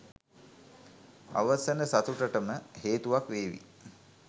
අවසන සතුටටම හේතුවක් වේවි.